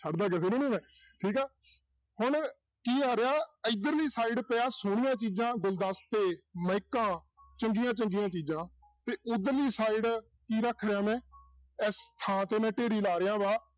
ਛੱਡ ਕਿਸੇ ਨੂੰ ਨੀ ਮੈਂ ਠੀਕ ਆ ਹੁਣ ਕੀ ਆ ਰਿਹਾ ਇੱਧਰਲੀ side ਤੇ ਆਹ ਸੋਹਣੀਆਂ ਚੀਜ਼ਾਂ ਗੁਲਦਸ਼ਤੇ ਮਾਇਕਾਂ ਚੰਗੀਆਂ ਚੰਗੀਆਂ ਚੀਜ਼ਾਂ ਤੇ ਉਧਰਲੀ side ਕੀ ਰੱਖ ਲਿਆ ਮੈਂ ਇਸ ਥਾਂ ਤੇ ਮੈਂ ਢੇਰੀ ਲਾ ਰਿਹਾ ਵਾਂ